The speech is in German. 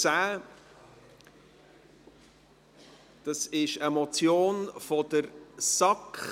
Es handelt sich um eine Motion der SAK.